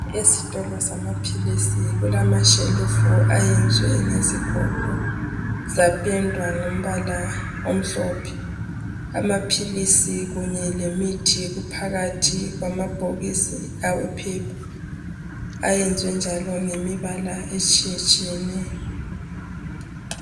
Esitolo samaphilisi kulama shelufu ayenzwe ngezigodo zapendwa ngombala omhlophe. Amaphilisi kunye lemithi kuphakathi kwamabhokisi awephepha ayenzwe njalo ngemibala etshiyatshiyeneyo.